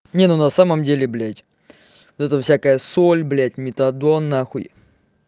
не ну на самом деле блядь зато всякое соль блядь метадон нахуй